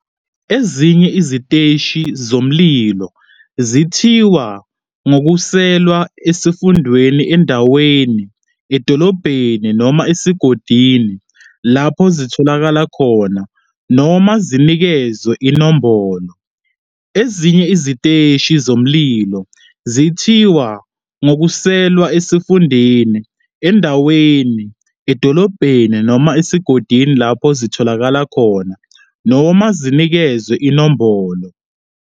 Ezinye iziteshi zomlilo zithiwa ngokususelwa esifundeni, endaweni, edolobhaneni noma esigodini lapho zitholakala khona, noma zinikezwe inombolo.